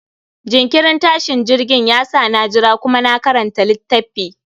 jinkirin tashin jirgin ya sa na jira kuma na karanta litaffi